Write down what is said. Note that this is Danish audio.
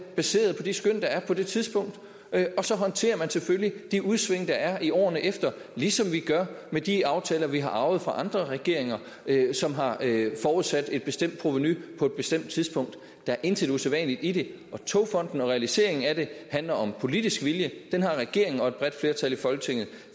baseret på de skøn der er på det tidspunkt og så håndterer man selvfølgelig de udsving der er i årene efter ligesom vi gør med de aftaler vi har arvet fra andre regeringer som har forudsat et bestemt provenu på et bestemt tidspunkt der er intet usædvanligt i det togfonden dk og realiseringen af den handler om politisk vilje den har regeringen og et bredt flertal i folketinget